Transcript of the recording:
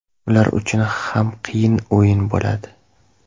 Ular uchun ham qiyin o‘yin bo‘ladi.